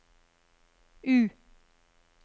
U